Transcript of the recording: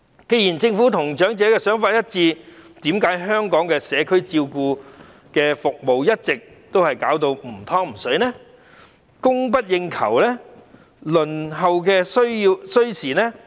既然政府與長者的想法一致，為何香港的社區照顧服務一直是"唔湯唔水"、供不應求，以及輪候時間甚長呢？